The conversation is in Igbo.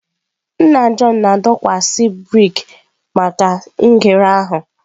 Nna Jọn na-adọkwasị brik maka ngere ahụ.